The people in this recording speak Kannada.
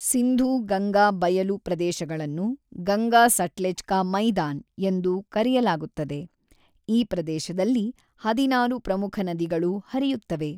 ಸಿಂಧೂ ಗಂಗಾ ಬಯಲು ಪ್ರದೇಶಗಳನ್ನು 'ಗಂಗಾ-ಸಟ್ಲೆಜ್ ಕಾ ಮೈದಾನ್' ಎಂದು ಕರೆಯಲಾಗುತ್ತದೆ, ಈ ಪ್ರದೇಶದಲ್ಲಿ ಹದಿನಾರು ಪ್ರಮುಖ ನದಿಗಳು ಹರಿಯುತ್ತವೆ.